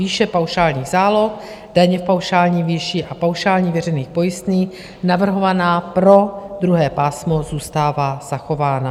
Výše paušálních záloh, daně v paušální výši a paušálních veřejných pojistných navrhovaná pro druhé pásmo zůstává zachována.